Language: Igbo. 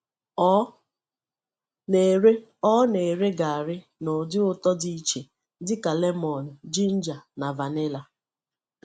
Ọ na-ere Ọ na-ere garri n’ụdị ụtọ dị iche dịka lemun, ginger, na vanilla.